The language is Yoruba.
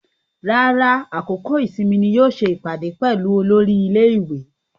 Rárá, àkókò ìsinmi ni yóò ṣe ìpàdé pẹ̀lú olórí ilé-ìwé.